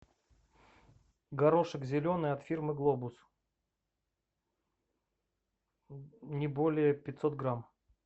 горошек зеленый от фирмы глобус не более пятьсот грамм